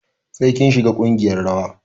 Sai kin shiga ƙungiyar rawa.